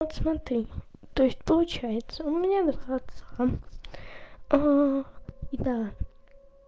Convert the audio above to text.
вот смотри то есть получается у меня до конца и да